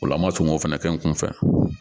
Ola an ma sɔn k'o fɛnɛ kɛ n kun fɛ